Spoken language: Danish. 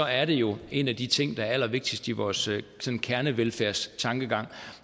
er det jo en af de ting der er allervigtigst i vores kernevelfærdstankegang